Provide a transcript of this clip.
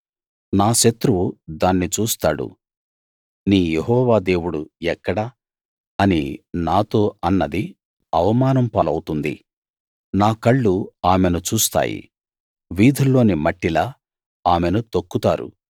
నా శత్రువు దాన్ని చూస్తాడు నీ యెహోవా దేవుడు ఎక్కడ అని నాతో అన్నది అవమానం పాలవుతుంది నా కళ్ళు ఆమెను చూస్తాయి వీధుల్లోని మట్టిలా ఆమెను తొక్కుతారు